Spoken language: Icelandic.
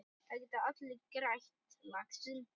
Það geta allir grætt, lagsi.